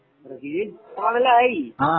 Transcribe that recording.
Brazil ഇപ്പലല്ലേ ആയി